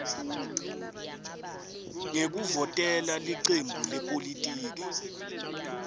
ngekuvotela licembu lepolitiki